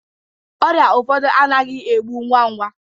Ọrịa ndi ụfọdụ anaghị egbu ngwa ngwa